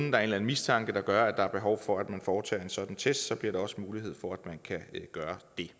eller anden mistanke der gør at der er behov for at man foretager en sådan test så bliver der også mulighed for at man kan gøre det